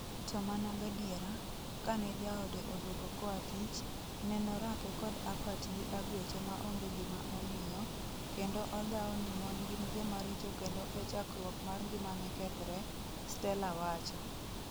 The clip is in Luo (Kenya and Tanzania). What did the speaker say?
To mana gadiera, kanejaode odwogo koatich , nenorake kod apat gi agwecho maonge gima omiyo, kendo odhao ni mon gin jomaricho kendo e chakruok mar ngimane kethre, Stella wacho.